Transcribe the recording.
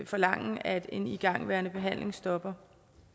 forlange at en igangværende behandling stopper